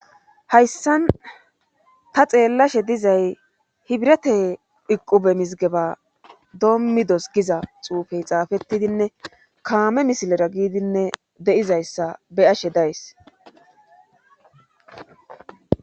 Hayssan ta xeellashe dizay hibrete iqube mizigeba doommidos giza xuufey xaafettidinne kaame misilera giidinne deizayssa be ashe days